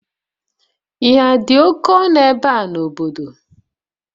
Ihe dị oke ọnụ ebe a n'obodo?